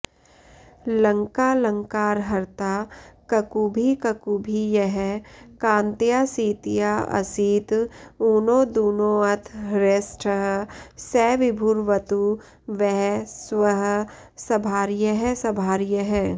लङ्कालङ्कारहर्ता ककुभि ककुभि यः कान्तया सीतयाऽऽसीत् ऊनो दूनोऽथ हृष्टः स विभुरवतु वः स्वःसभार्यः सभार्यः